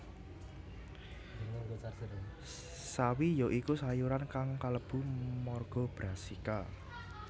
Sawi ya iku sayuran kang kalebu marga Brassica